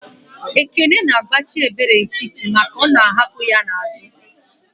Ekene na agbachi ebere nkiti maka I'hapu ya n'azu.